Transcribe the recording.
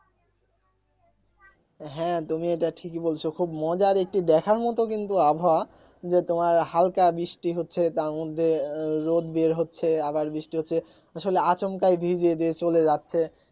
হ্যাঁ তুমি এটা ঠিক ই বলেছো খুব মজার একটি দেখার মতো কিন্ত আবহাওয়া যে তোমার হালকা বৃষ্টি হচ্ছে তার মধ্যে আহ রোদ বের হচ্ছে আবার বৃষ্টি হচ্ছে আসলে আচমকা ভিজিয়ে দিয়ে চলে যাচ্ছে